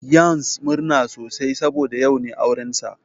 Yans murna sosai saboda yau ne aurensa.